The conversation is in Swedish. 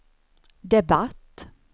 debatt